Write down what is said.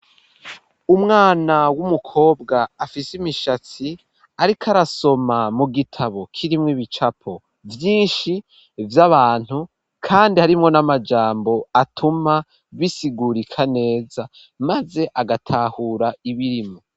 Umwana w'umukobwa afise imishatsi ariko arasoma mu gitabo k'irimwo ibicapo vyinshi vy'abantu kandi harimo n'amajambo atuma bisigurika neza maze agatahura ibintu.